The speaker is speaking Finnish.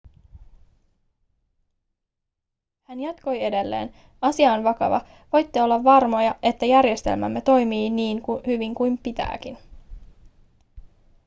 hän jatkoi edelleen asia on vakava voitte olla varmoja että järjestelmämme toimii niin hyvin kuin pitääkin